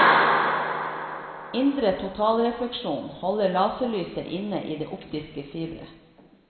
Indre totalrefleksjon holder laserlyset inne i det optiske fiberet.